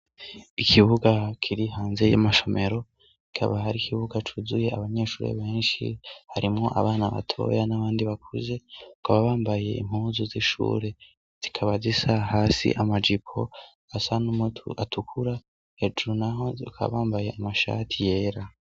Ikibuga kiri hanze y'amashemero kaba hari ikibuga cuzuye abanyeshuri benshi harimwo abana batoya n'abandi bakuze ngo ababambaye impuzu z'ishure zikabaza isa hasi amajipo asa n'umutu atukura hejuru, naho kabambaye amashati yera.